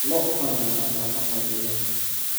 Lo� badan baa daaqa fadhiya.